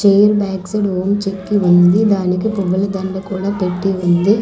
Chain bags లోన్ చెక్కి ఉంది దానికి పువ్వుల దండ కూడా పెట్టి ఉంది.